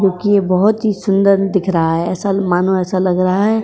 क्यूंकी यह बोहत ही सुंदर दिख रहा है। ऐसा मानो ऐसा लग रहा है।